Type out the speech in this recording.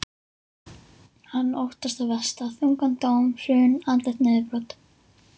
Hann óttast það versta, þungan dóm, hrun, andlegt niðurbrot.